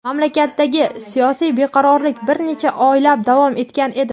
mamlakatdagi siyosiy beqarorlik bir necha oylab davom etgan edi.